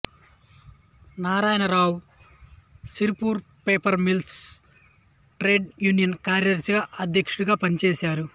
Narayana Rao Sirpur paper mills trade union కార్యదర్శిగా అధ్యక్షడిగా పనిచేసారు